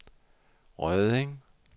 Rødding